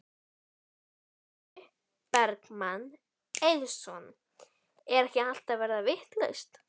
Logi Bergmann Eiðsson: Er ekki allt að verða vitlaust?